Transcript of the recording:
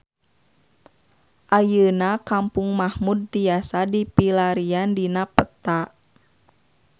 Ayeuna Kampung Mahmud tiasa dipilarian dina peta